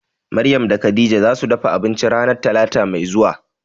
Maryam da Khadijah zasu dafa abinci ranan talata mai zuwa.